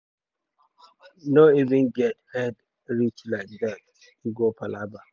no even get head reach like dat e go palava.